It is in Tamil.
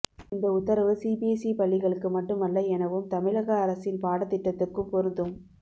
இந்த உத்தரவு சிபிஎஸ்இ பள்ளிகளுக்கு மட்டுமல்ல எனவும் தமிழ அரசின் பாடத்திட்டத்துக்கும் பொருந்தும்